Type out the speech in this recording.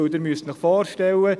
Sie müssen sich vorstellen: